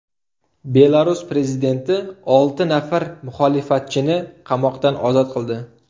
Belarus prezidenti olti nafar muxolifatchini qamoqdan ozod qildi.